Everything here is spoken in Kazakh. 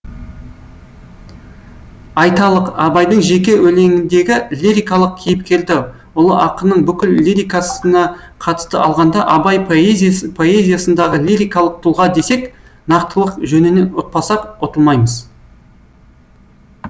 айталық абайдың жеке өлеңіндегі лирикалық кейіпкерді ұлы ақынның бүкіл лирикасына қатысты алғанда абай поэзиясындағы лирикалық тұлға десек нақтылық жөнінен ұтпасақ ұтылмаймыз